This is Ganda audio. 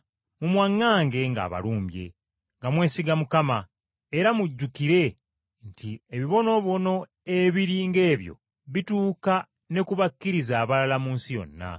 Mumwaŋŋange ng’abalumbye, nga mwesiga Mukama, era mujjukire nti ebibonoobono ebiri ng’ebyo bituuka ne ku bakkiriza abalala mu nsi yonna.